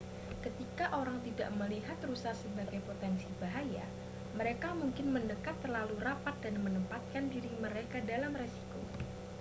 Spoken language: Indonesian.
ketika orang tidak melihat rusa sebagai potensi bahaya mereka mungkin mendekat terlalu rapat dan menempatkan diri mereka dalam risiko